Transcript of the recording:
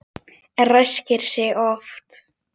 Ræskir sig oft.